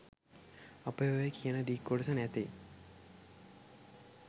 අපේ ඔය කියන දික් කොටස නැතෙයි